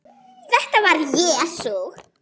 Þetta var Jesús